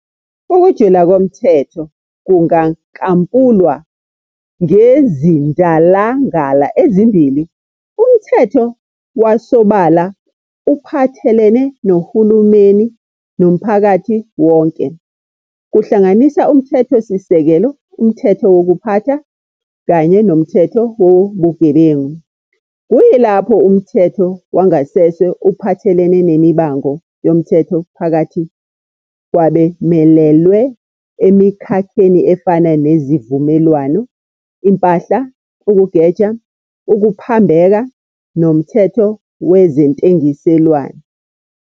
Ukujula komthetho kungankampulwa ngezindalangala ezimbili- umthetho wasobala uphathelene nohulumeni nomphakathi wonke, kuhlanganisa umthetho-sisekelo, umthetho wokuphatha, kanye nomthetho wobugebengu, kuyilapho umthetho wangasese uphathelene nemibango yomthetho phakathi kwabemelelwe emikhakheni efana nezivumelwano, impahla, ukugeja, ukuphambeka, nomthetho wezentengiselwano.